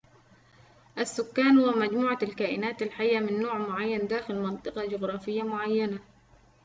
السكان هو مجموعة الكائنات الحية من نوع معين داخل منطقة جغرافية معينة